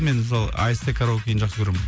мен мысалы аст караокиін жақсы көремін